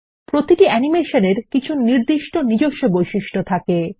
প্রতিটি অ্যানিমেশন এর কিছু নির্দিষ্ট নিজস্ব বৈশিষ্ট্য থাকে